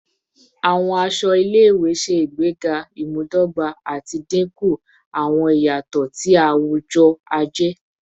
Awọn aṣọ ile-iwe ṣe igbega imudogba ati dinku awọn iyatọ ti awujọ-aje